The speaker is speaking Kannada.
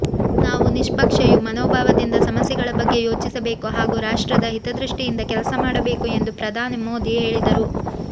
ನಾವು ನಿಶ್ಪಕ್ಷ ಮನೋಭಾವದಿಂದ ಸಮಸ್ಯೆಗಳ ಬಗ್ಗೆ ಯೋಚಿಸಬೇಕು ಹಾಗೂ ರಾಷ್ಟ್ರದ ಹಿತದೃಷ್ಟಿಯಿಂದ ಕೆಲಸ ಮಾಡಬೇಕು ಎಂದು ಪ್ರಧಾನಿ ಮೋದಿ ಹೇಳಿದರು